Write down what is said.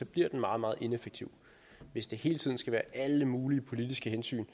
bliver meget meget ineffektiv hvis der hele tiden skal være alle mulige politiske hensyn